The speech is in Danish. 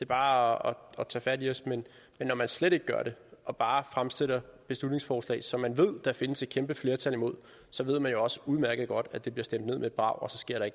bare at tage fat i os men når man slet ikke gør det og bare fremsætter beslutningsforslag som man ved der findes et kæmpe flertal imod så ved man jo også udmærket godt at det bliver stemt ned med et brag